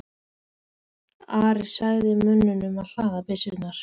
Ari sagði mönnunum að hlaða byssurnar.